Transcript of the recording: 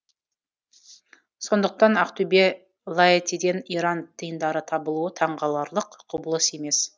сондықтан ақтөбед ғаэтиден иран тиындары табылуы таңғаларлық құбылыс емес